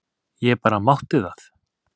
Ég bara mátti það!